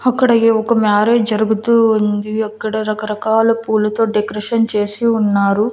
అక్కడ ఆయ్యే ఒక మ్యారేజ్ జరుగుతూ ఉంది అక్కడ రకరకాల పూలతో డెకరేషన్ చేసి ఉన్నారు.